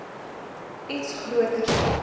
iets groter stel